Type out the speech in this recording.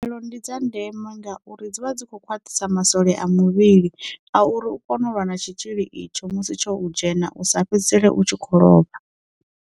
Khaelo ndi dza ndeme ngauri dzivha dzi kho khwaṱhisa masole a muvhili a uri u kone u lwa na tshitzhili itsho musi tsho dzhena u sa fhedzisele u tshi khou lovha.